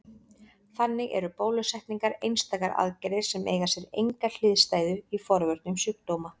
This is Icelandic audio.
Þannig eru bólusetningar einstakar aðgerðir sem eiga sér enga hliðstæðu í forvörnum sjúkdóma.